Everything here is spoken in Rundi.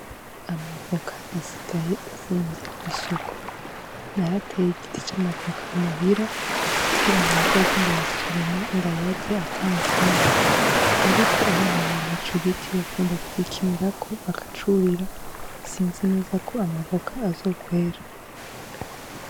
Amavoka asigaye azimvye kw'isoko. Narateye igiti c'amavoka muhira, kugira ngo nzoze ndayasoroma ndayarye atanzimvye. Ariko abana banje ico giti bakunda kugikinirako bakacurira, sinzi neza ko amavoka azokwera.